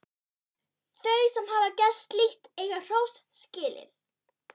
Þau sem hafa gert slíkt eiga hrós skilið.